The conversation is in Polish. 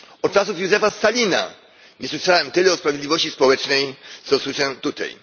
Od czasów Józefa Stalina nie słyszałem tyle o sprawiedliwości społecznej, co usłyszałem tutaj.